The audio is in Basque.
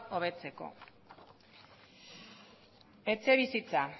hobetzeko etxebizitza